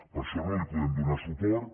per això no hi podem donar suport